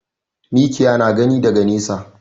Mikiya na gani daga nesa.